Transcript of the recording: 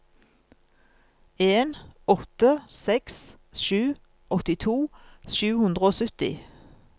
en åtte seks sju åttito sju hundre og sytti